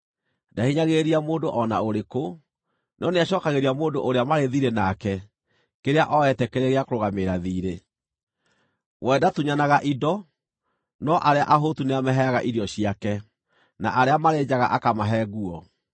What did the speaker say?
Ndahinyagĩrĩria mũndũ o na ũrĩkũ, no nĩacookagĩria mũndũ ũrĩa marĩ thiirĩ nake kĩrĩa ooete kĩrĩ gĩa kũrũgamĩrĩra thiirĩ. We ndatunyanaga indo, no arĩa ahũtu nĩamaheaga irio ciake, na arĩa marĩ njaga akamahe nguo.